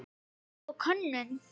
Leit og könnun